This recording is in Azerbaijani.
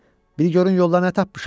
Bir görün yolda nə tapmışam?